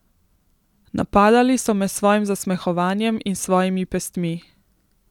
Napadali so me s svojim zasmehovanjem in s svojimi pestmi.